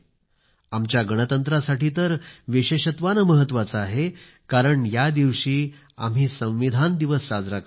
आमच्या गणतंत्रासाठी तर विशेषत्वाने महत्त्वाचा आहे कारण या दिवशी आम्ही संविधान दिवस साजरा करतो